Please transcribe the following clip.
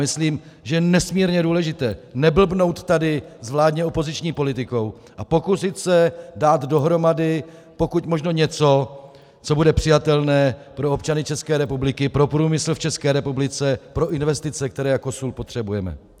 Myslím, že je nesmírně důležité neblbnout tady s vládně opoziční politikou a pokusit se dát dohromady pokud možno něco, co bude přijatelné pro občany České republiky, pro průmysl v České republice, pro investice, které jako sůl potřebujeme.